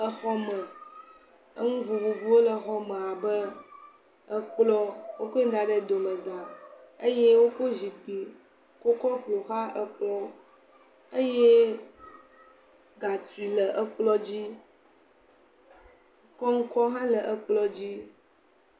Le xɔ me. Nu vovovowo le xɔme abe ekplɔ̃, wokoe da ɖe domezã eye woko zikpui kɔkɔ ƒo xlã ekplɔ̃ eye gatui le kplɔ̃ dzi. Kɔŋkɔ hã le kplɔ̃ dzi.